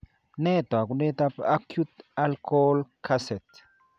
Nee taakunetaab acute alcohol kaset?